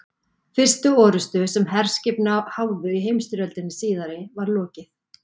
Fyrstu orrustu, sem herskip háðu í heimsstyrjöldinni síðari, var lokið